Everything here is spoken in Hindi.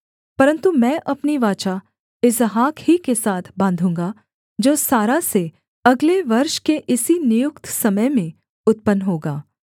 परन्तु मैं अपनी वाचा इसहाक ही के साथ बाँधूँगा जो सारा से अगले वर्ष के इसी नियुक्त समय में उत्पन्न होगा